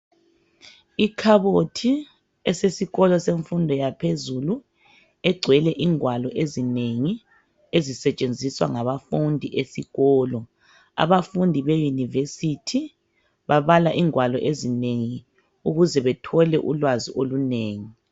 Ikhabothi esesikolo semfundo yaphezulu egcwele ingwalo ezinengi ezisetshenziswa ngabafundi esikolo. Abafundi beyunivesithi babala ingwalo ezinengi ukuze bathole ulwazi olunengi.